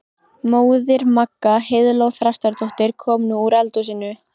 Móðir Magga, Heiðló Þrastardóttir, kom nú úr eldhúsinu.